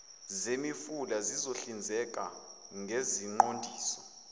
zemifula lizohlinzeka ngeziqondiso